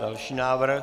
Další návrh.